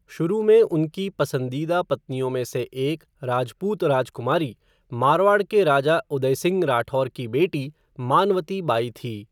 शुरू में उनकी पसंदीदा पत्नियों में से एक राजपूत राजकुमारी, मारवाड़ के राजा उदय सिंह राठौर की बेटी, मनावती बाई थी।